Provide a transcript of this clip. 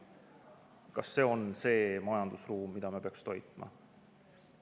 Kas see on see majandusruum, mida me peaksime toitma?